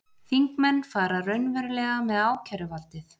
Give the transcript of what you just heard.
Þingmenn fara raunverulega með ákæruvaldið